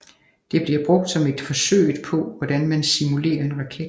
Det bliver brugt som et forsøget hvorpå man simulere en raket